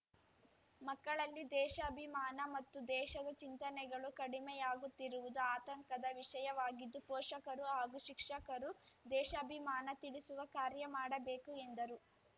ಮಕ್ಕಳಲ್ಲಿ ದೇಶಾಭಿಮಾನ ಮತ್ತು ದೇಶದ ಚಿಂತನೆಗಳು ಕಡಿಮೆಯಾಗುತ್ತಿರುವುದು ಆತಂಕದ ವಿಷಯವಾಗಿದ್ದು ಪೋಷಕರು ಹಾಗೂ ಶಿಕ್ಷಕರು ದೇಶಾಭಿಮಾನ ತಿಳಿಸುವ ಕಾರ್ಯ ಮಾಡಬೇಕು ಎಂದರು